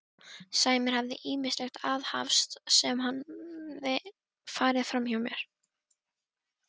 Sævar hafði ýmislegt aðhafst sem hafði farið framhjá mér.